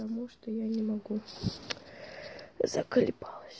потому что я не могу заколебалась